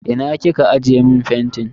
Ina kika aje fentin.